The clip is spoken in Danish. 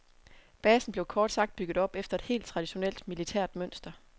Basen blev kort sagt bygget op efter et helt traditionelt militært mønster.